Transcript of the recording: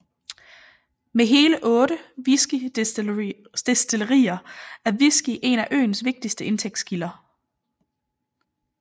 Med hele otte whiskydestillerier er whisky et af øens vigtigste indtægtskilder